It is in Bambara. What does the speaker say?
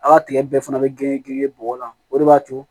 A' ka tigɛ bɛɛ fana bɛ gengen gere bɔgɔ la o de b'a to